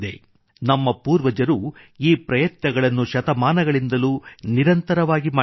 ನಮ್ಮ ಪೂರ್ವಜರು ಈ ಪ್ರಯತ್ನಗಳನ್ನು ಶತಮಾನಗಳಿಂದಲೂ ನಿರಂತರವಾಗಿ ಮಾಡಿದ್ದಾರೆ